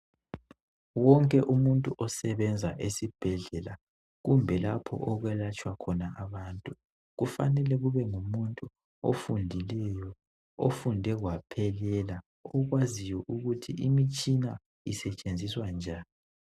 Wonke umuntu osebenza esibhedlela kumbe lapho okwelatshwa khona abantu kumele kube ngumuntu ofundileyo. Ofunde kwaphelela ,okwaziyo ukuthi imitshina isetshenziswa njani.